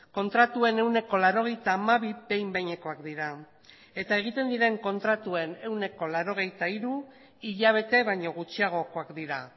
kontratuen ehuneko laurogeita hamabi behin behinekoak dira eta egiten diren kontratuen ehuneko laurogeita hiru hilabete baino gutxiagokoak dira